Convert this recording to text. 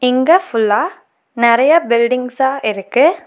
இங்க ஃபுல்லா நெறைய பில்டிங்சா இருக்கு.